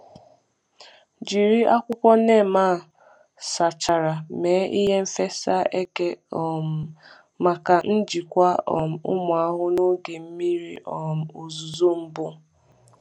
Jiri akwụkwọ neem a akwụkwọ neem a sachara mee ihe fesa eke um maka njikwa um ụmụ ahụhụ n’oge mmiri um ozuzo mbụ.